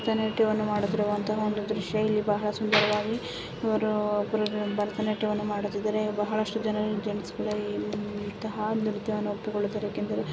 ನಿತ್ಯವನ್ನು ಮಾಡುತ್ತಿರುವ ಅಂತಹ ಒಂದು ದೃಶ್ಯ ಬಹಳ ಸುಂದರವಾಗಿ ಇವರು ಭರತನಾಟ್ಯಮ್ಮ ಮಾಡುತ್ತಿದ್ದರು ಬಹಳಷ್ಟು ಜನ ಜೆಂಟ್ಸ್ ಮುಂದೆ ನೃತ್ಯಯ ಒಪ್ಪಿಕೊಳ್ಳುತ್ತಿರುವ ಏಕಂದರೆ--